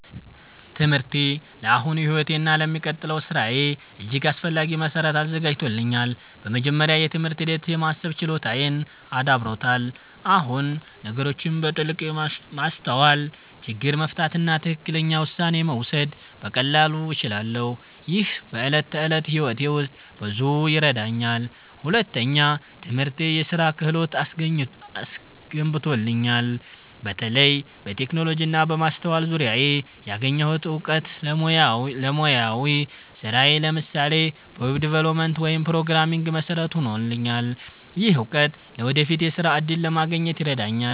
ትምህርቴ ለአሁኑ ሕይወቴ እና ለሚቀጥለው ሥራዬ እጅግ አስፈላጊ መሠረት አዘጋጅቶኛል። በመጀመሪያ፣ የትምህርት ሂደት የማሰብ ችሎታዬን አዳብሮታል። አሁን ነገሮችን በጥልቀት ማስተዋል፣ ችግር መፍታት እና ትክክለኛ ውሳኔ መውሰድ በቀላሉ እችላለሁ። ይህ በዕለት ተዕለት ሕይወቴ ውስጥ ብዙ ይረዳኛል። ሁለተኛ፣ ትምህርቴ የስራ ክህሎት አስገንብቶኛል። በተለይ በቴክኖሎጂ እና በማስተዋል ዙሪያ ያገኘሁት እውቀት ለሙያዊ ስራዬ (ለምሳሌ በweb development ወይም programming) መሠረት ሆኖልኛል። ይህ እውቀት ለወደፊት የሥራ እድል ለማግኘት ይረዳኛል።